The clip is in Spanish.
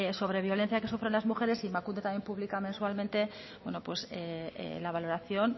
sobre violencia que sufren las mujeres y emakunde también pública mensualmente la valoración